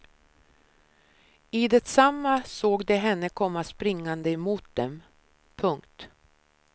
I detsamma såg de henne komma springande emot dem. punkt